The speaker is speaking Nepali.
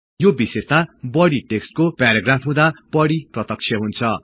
यो विशेषता बढि टेक्सट को पेराग्राफ हुँदा बढि प्रत्यक्ष हुन्छ